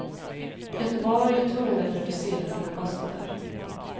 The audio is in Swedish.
Göteborg är tvungen att reducera sina kostnader.